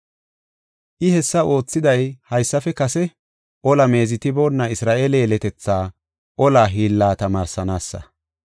I hessa oothiday haysafe kase ola meezetiboonna Isra7eele yeletethaa ola hiilla tamaarsanaasa.